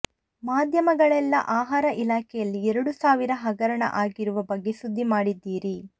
ಮಾಧ್ಯಮಗಳೆಲ್ಲ ಆಹಾರ ಇಲಾಖೆಯಲ್ಲಿ ಎರಡು ಸಾವಿರ ಹಗರಣ ಆಗಿರುವ ಬಗ್ಗೆ ಸುದ್ದಿ ಮಾಡಿದ್ದೀರಿ